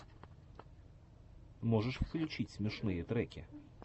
можешь включить смешные треки